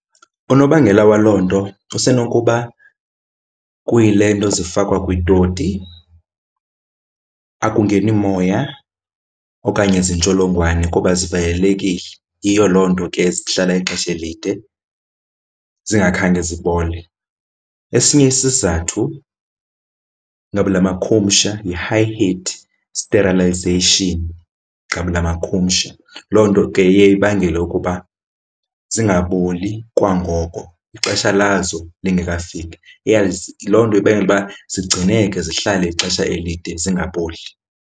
Unobangela waloo nto usenokuba kuyile nto zifakwa kwiitoti akungeni moya okanye zintsholongwane kuba zivalelekile. Yiyo loo nto ke zihlala ixesha elide zingakhange zibole. Esinye isizathu ngabula makhumsha yi-high heat sterilization, ngabula makhumsha. Loo nto ke iye ibangele ukuba zingaboli kwangoko, ixesha lazo lingekafiki. Loo nto ibangela uba zigcineke zihlale ixesha elide zingaboli.